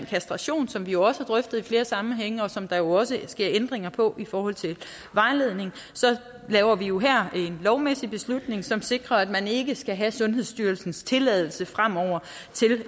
kastration som vi jo også har drøftet i flere sammenhænge og som der jo også sker ændringer på i forhold til vejledning laver vi jo her en lovmæssig beslutning som sikrer at man ikke skal have sundhedsstyrelsens tilladelse fremover